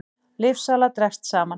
Lyfjasala dregst saman